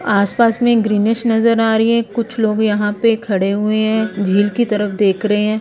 आस पास में ग्रीनीश नजर आ रही है कुछ लोग यहां पे खड़े हुए हैं झील की तरफ देख रहे--